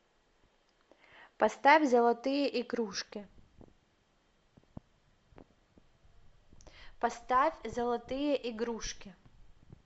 поставь золотые игрушки